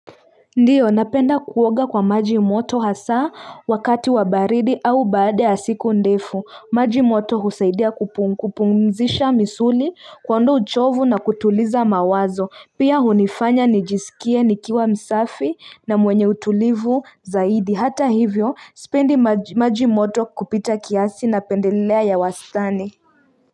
Ndiyo napenda kuoga kwa maji moto hasaa wakati wa baridi au baada ya siku ndefu maji moto husaidia kupumzisha misuli kuondoa uchovu na kutuliza mawazo pia hunifanya nijisikie nikiwa msafi na mwenye utulivu zaidi hata hivyo sipendi maji moto kupita kiasi napendelea ya wastani.